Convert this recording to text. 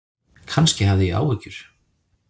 Kannski hafði ég áhyggjur.